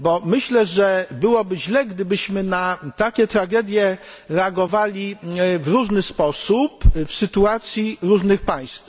Myślę, że byłoby źle, gdybyśmy na takie tragedie reagowali w różny sposób w sytuacji różnych państw.